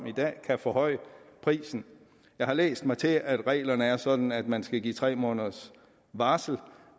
i dag kan forhøje prisen jeg har læst mig til at reglerne er sådan at man skal give tre måneders varsel